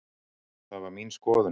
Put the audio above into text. Það var mín skoðun.